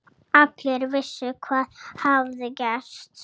Allir vissu hvað hafði gerst.